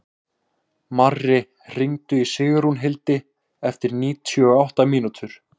Marri, hringdu í Sigrúnhildi eftir níutíu og átta mínútur.